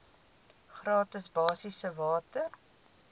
gratis basiese water